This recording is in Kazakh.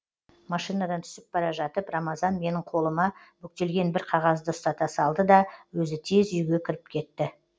машинадан түсіп бара жатып рамазан менің қолыма бүктелген бір қағазды ұстата салды да өзі тез үйге кіріп кетті